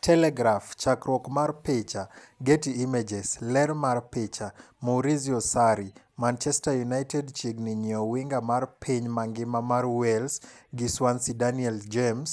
(Telegraph) Chakruok mar picha, Getty Images. ler mar picha, Maurizio Sarri .Manchester United chiegni nyiew winga mar piny mangima mar Wales gi Swansea Daniel James,